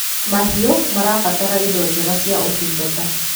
mahiũ marabatara indo njega cia utungata